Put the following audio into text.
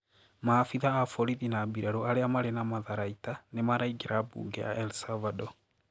Maabitha a borithi na mbirarũ aria mari na matharaita nimaraingira bunge ya El Salvador.